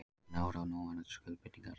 Engin áhrif á núverandi skuldbindingar